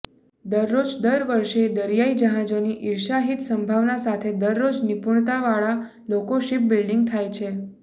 દરરોજ દર વર્ષે દરિયાઈ જહાજોની ઇર્ષાહીત સંભાવના સાથે દરરોજ નિપુણતાવાળા લોકો શિપબિલ્ડીંગ થાય છે